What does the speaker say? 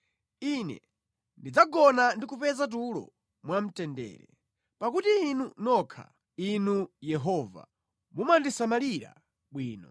Ine ndidzagona ndi kupeza tulo mwamtendere, pakuti Inu nokha, Inu Yehova, mumandisamalira bwino.